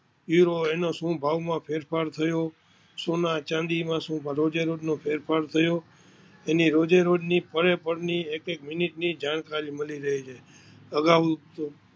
ઉરો તેના ભાવ માં શું ભાવ ફેરફાર થયો સોના ચાંદી માં રોજે રોજ નો શું ફેરફાર થયો તેની રોજે રોજ ની પળે પળ ની એક એક મિનિટ ની જાણકારી મળી રહે છે.